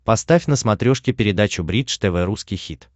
поставь на смотрешке передачу бридж тв русский хит